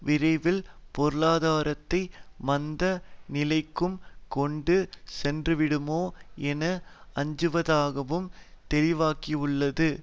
விரைவில் பொருளாதாரத்தை மந்த நிலைக்கு கொண்டு சென்றுவிடுமோ என அஞ்சுவதாகவும் தெளிவாக்கியுள்ளது